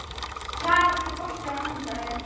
Kjaran, er bolti á mánudaginn?